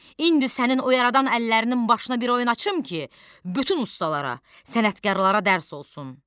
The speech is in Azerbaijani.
İndi sənin o yaradan əllərinin başına bir oyun açım ki, bütün ustalara, sənətkarlara dərs olsun.